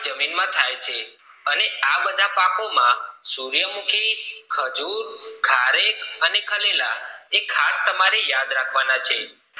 જમીન માં થાય છે અને આ બધા પાકો માં સૂર્યમુખી ખજૂર ખારેક અને ખરેલા એ ખાસ યાદ રાખવાના છે